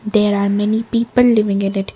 there are many people living in it.